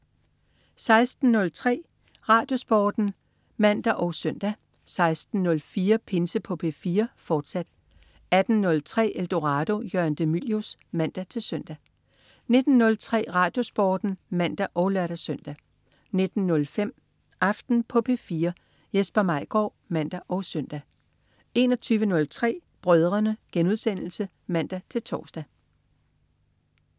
16.03 RadioSporten (man og søn) 16.04 Pinse på P4, fortsat 18.03 Eldorado. Jørgen de Mylius (man-søn) 19.03 RadioSporten (man og lør-søn) 19.05 Aften på P4 Jesper Maigaard (man og søn) 21.03 Brødrene* (man-tors)